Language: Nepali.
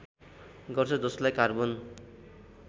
गर्छ जसलाई कार्बन